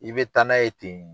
I bɛ taa n'a ye ten.